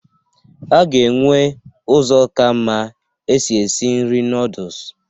A ga-enwe ụzọ ka mma èsi ési nri noodus